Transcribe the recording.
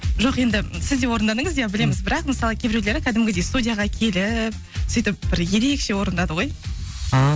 жоқ енді сіз де орындадыңыз иә білеміз бірақ мысалы кейбіреулері кәдімгідей студияға келіп сөйтіп бір ерекше орындады ғой ааа